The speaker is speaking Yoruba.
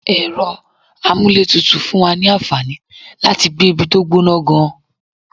Ẹ̀rọ amúlétutù fún wa ní àǹfàní láti gbé ibi tó gbọ́nà gan-an.